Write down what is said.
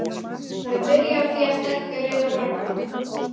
Það er byrjað á því að stækka Rauða braggann.